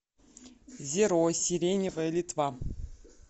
зеро сиреневая литва